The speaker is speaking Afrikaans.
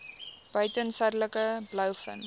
buiten suidelike blouvin